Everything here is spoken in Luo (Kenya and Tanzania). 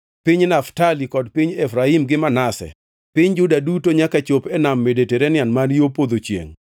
piny Naftali kod piny Efraim gi Manase, piny Juda duto nyaka chopi e Nam Mediterania man yo podho chiengʼ;